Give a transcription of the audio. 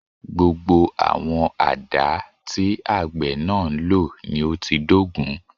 Gbogbo àwọn àdá tí àgbẹ̀ náà ń lò ni ó ti dógùn